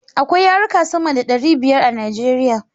Akwai yarika sama da ɗari biyar a Nijeriya